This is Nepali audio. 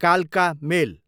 कालका मेल